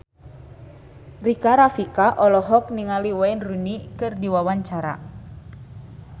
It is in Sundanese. Rika Rafika olohok ningali Wayne Rooney keur diwawancara